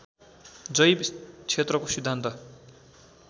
जैव क्षेत्रको सिद्धान्त